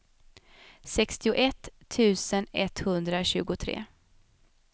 sextioett tusen etthundratjugotre